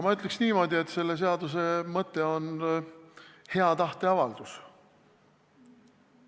Ma ütleks niimoodi, et selle seaduse mõte on hea tahte avaldus.